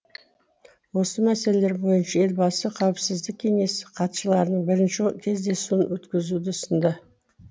осы мәселелер бойынша елбасы қауіпсіздік кеңесі хатшыларының бірінші кездесуін өткізуді ұсынды